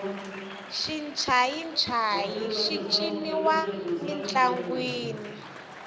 xincayincayi xi ciniwa mintlangwini